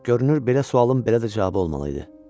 Görünür belə sualın belə də cavabı olmalı idi.